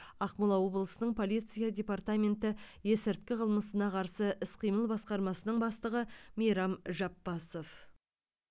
ақмола облысының полиция департаменті есірткі қылмысына қарсы іс қимыл басқармасының бастығы мейрам жапбасов